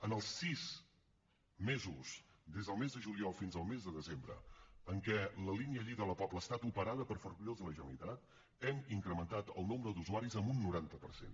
en els sis mesos des del mes de juliol fins al mes de desembre en què la línia lleida la pobla ha estat operada per ferrocarrils de la generalitat hem incrementat el nombre d’usuaris en un noranta per cent